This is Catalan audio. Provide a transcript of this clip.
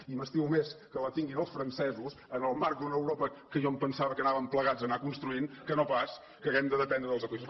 i m’estimo més que la tinguin els francesos en el marc d’una europa que jo em pensava que anàvem plegats a anar construint que no pas que hàgim de dependre dels aqüífers